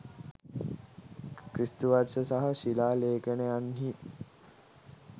ක්‍රිස්තු වර්ෂ සහ ශිලා ලේඛනයන්හි